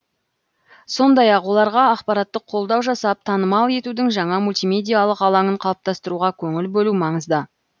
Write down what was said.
сондай ақ оларға ақпараттық қолдау жасап танымал етудің жаңа мультимедиалық алаңын қалыптастыруға көңіл бөлу маңызды